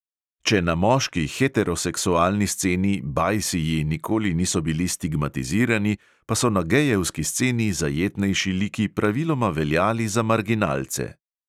Če na moški heteroseksualni sceni "bajsiji" nikoli niso bili stigmatizirani, pa so na gejevski sceni zajetnejši liki praviloma veljali za marginalce.